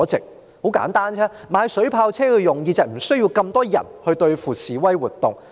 這是很簡單的，購買水炮車的目的，就是警方無須派那麼多人對付示威活動。